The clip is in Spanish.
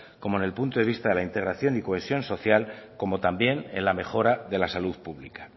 como en el punto de vista de integración y cohesión social como también en la mejora de la salud pública